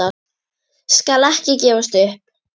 Skal ekki gefast upp.